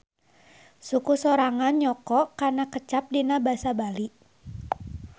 Suku sorangan nyoko kana kecap dina basa Bali.